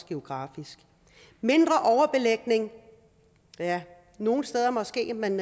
geografisk mindre overbelægning ja nogle steder måske men